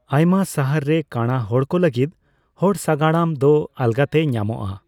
ᱟᱭᱢᱟ ᱥᱟᱦᱟᱨ ᱨᱮ ᱠᱟᱸᱬᱟ ᱦᱚᱲᱠᱚ ᱞᱟᱹᱜᱤᱫ ᱦᱚᱲ ᱥᱟᱜᱟᱲᱚᱢ ᱫᱚ ᱟᱞᱜᱟᱛᱮ ᱧᱟᱢᱚᱜᱼᱟ ᱾